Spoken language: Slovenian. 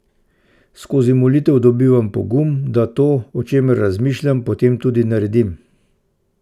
Skozi molitev dobivam pogum, da to, o čemer razmišljam, potem tudi naredim.